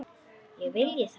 Ég vilji það?